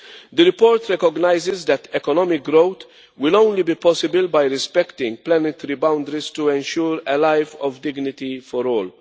The report recognises that economic growth will only be possible by respecting planetary boundaries to ensure a life of dignity for all.